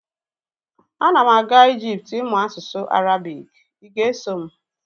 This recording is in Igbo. Ana m aga Ijipt ịmụ asụsụ Arabik, ị ga-eso m?